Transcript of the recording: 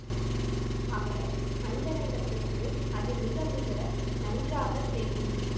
அவர் அந்தரங்கத்துக்கு அது மிக மிக நன்றாக தெரியும்